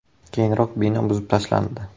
Keyinroq bino buzib tashlandi.